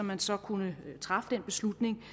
man så kunne træffe den beslutning